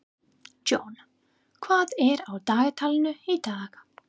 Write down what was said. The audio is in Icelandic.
John, hvað er á dagatalinu í dag?